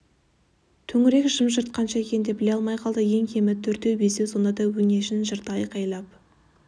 төңірек жым-жырт қанша екенін де біле алмай қалды ең кемі төртеу-бесеу сонда да өңешін жырта айқайлап